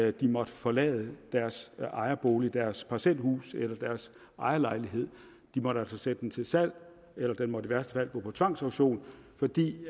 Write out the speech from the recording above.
at de måtte forlade deres ejerbolig deres parcelhus eller deres ejerlejlighed de måtte altså sætte den til salg eller den måtte i værste fald gå på tvangsauktion fordi de